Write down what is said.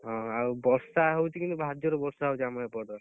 ହଁ ଆଉ ବର୍ଷା ହଉଛି କିନ୍ତୁ ଭାରି ଜୋରେ ବର୍ଷା ହଉଛି ଆମ ଏପଟ,